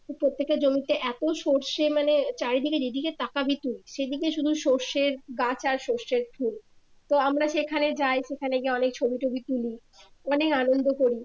প্রত্যেকের জমিতে এতো সরষে মানে চারিদিকে যেদিকে তাকাবি তুই সেদিকে শুধু সরষের গাছ আর সরষের ফুল তো আমরা সেখানে যাই সেখানে গিয়ে অনেক ছবি টবি তুলি অনেক আনন্দ করি